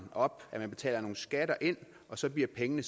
op at man betaler nogle skatter ind og så bliver pengene